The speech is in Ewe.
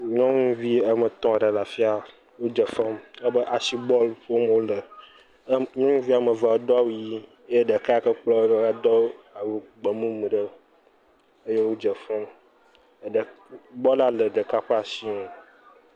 Nyɔnuvi ame etɔ̃ ɖe le afia dzefem asi bɔl ƒom wole. Nyɔnuvi ame evea do awu yii ye ɖeka yi ke kplɔe ɖo edo awu gbemumu eye wodze fem. Bɔla le ɖeka ƒe ashi nu.